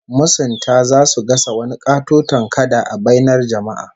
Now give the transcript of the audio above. Masunta zasu gasa wani katoton kada a bainar jama'a